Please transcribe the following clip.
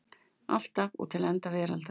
Alltaf og til enda veraldar.